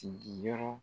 Sigiyɔrɔ